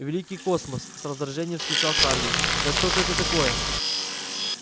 великий космос с раздражением вскричал хардин да что же это такое